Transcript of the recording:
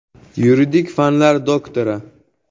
Yuridik fanlar doktori.